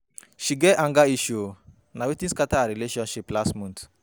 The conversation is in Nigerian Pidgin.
She get anger issues o, na wetin scatter our relationship last month.